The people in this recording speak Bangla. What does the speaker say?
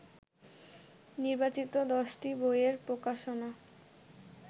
নির্বাচিত দশটি বইয়ের প্রকাশনা